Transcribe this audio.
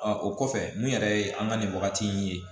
o kɔfɛ mun yɛrɛ ye an ka nin wagati in ye